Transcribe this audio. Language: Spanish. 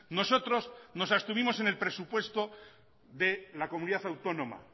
nosotros nos abstuvimos en el presupuesto de la comunidad autónoma